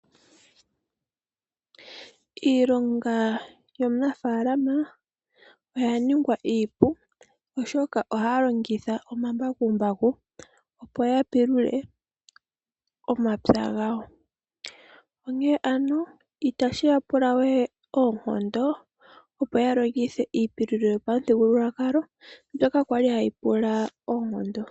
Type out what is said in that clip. Iilonga yomunafaala oya ningwa iipu oshoka ohaya longitha omambakumbaku opo ya pulule omapya gawo. Onkene ano itashiya pulawe oonkondo opo ya longithe iipululo yopamuthigululwakalo mbyoka kwali hayi pula oonkondo.